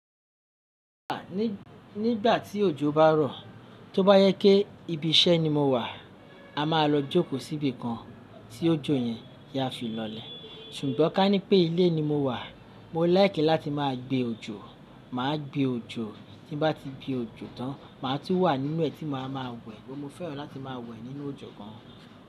À, nígbà tí òjò bá rọ̀, tó bá jẹ́ pé ibi iṣẹ́ ni mo wà, a máa lọ jókòó síbi kan tí òjò yẹn yẹn fi lọlẹ̀. Ṣùgbọ́n ká ní pé ilé ni mo wà, mo fẹ́ràn láti máa gbé òjò, mà á gbé òjò. Tí bá ti gbe òjò tán, mà á tú wà nínú ẹ̀ tí mo máa ma wẹ̀. Mo fẹ́ràn láti máa wẹ̀ nínú òjò gán.